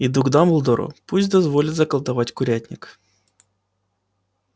иду к дамблдору пусть дозволит заколдовать курятник